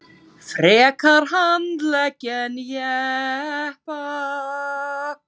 Frekar handleggi en jeppa